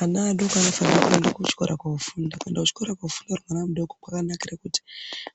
Ana adoko anofana kuende kuchikora kofunda. Kuenda kuchikora kofunda ari ana adoko kwakanakira kuti